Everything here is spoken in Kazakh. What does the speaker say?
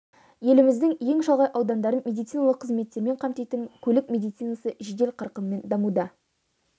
еліміздің ең шалғай аудандарын медициналық қызметтермен қамтитын көлік медицинасы жедел қарқынмен дамуда